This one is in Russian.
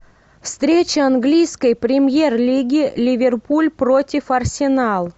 встреча английской премьер лиги ливерпуль против арсенал